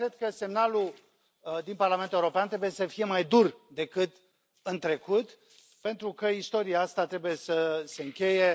De asta cred că semnalul din Parlament European trebuie să fie mai dur decât în trecut, pentru că istoria asta trebuie să se încheie.